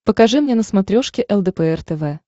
покажи мне на смотрешке лдпр тв